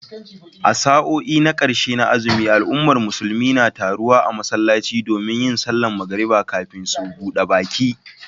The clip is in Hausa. A sa'o'i na karshe na azumi, al'ummar musulmi na taruwa a masallaci domin yin sallar magariba kafin su buda baki